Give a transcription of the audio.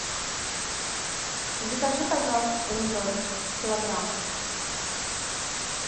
закажи пожалуйста помидоры килограмм